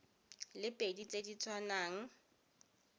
le pedi tse di tshwanang